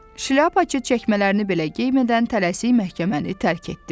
Şlyapaçı çəkmələrini belə geymədən tələsik məhkəməni tərk etdi.